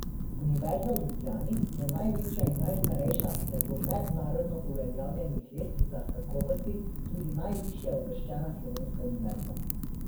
Univerza v Ljubljani je največja in najstarejša ter po mednarodno uveljavljenih lestvicah kakovosti tudi najvišje uvrščena slovenska univerza.